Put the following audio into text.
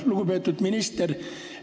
Lugupeetud minister!